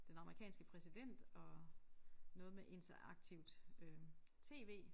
Den amerikanske præsident og noget med interaktivt øh tv